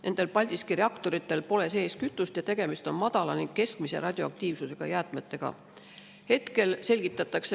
Nendel Paldiski reaktoritel pole sees kütust, tegemist on madala ning keskmise radioaktiivsusega jäätmetega.